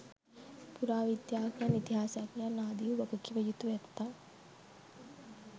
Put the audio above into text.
පුරාවිද්‍යාඥයන් ඉතිහාසඥයන් ආදි වූ වගකිව යුතු ඇත්තන්